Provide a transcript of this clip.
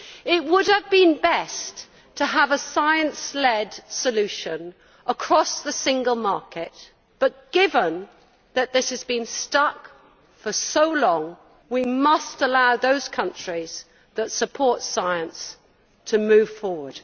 It would have been best to have a science led solution across the single market, but given that this has been stuck for so long, we must allow those countries that support science to move forward.